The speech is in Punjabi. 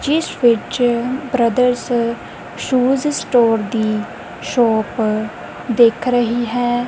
ਜਿੱਸ ਵਿੱਚ ਬ੍ਰਦਰਸ ਸ਼ੂਜ਼ ਸਟੋਰ ਦੀ ਸ਼ੌਪ ਦਿੱਖ ਰਹੀ ਹੈ।